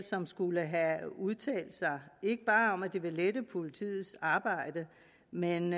som skulle have udtalt sig ikke bare om at det ville lette politiets arbejde men